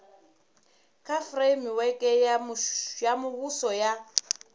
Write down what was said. kha fureimiweke ya muvhuso ya